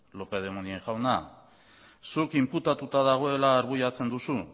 lópez de munain jauna zuk inputatuta dagoela argudiatzen duzu